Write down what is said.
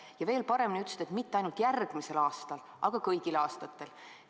Ja veel paremini ütlesid, et seda mitte ainult järgmisel aastal, vaid kõigil aastatel.